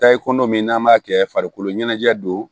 Taa ye kolo min n'an b'a kɛ farikolo ɲɛnajɛ don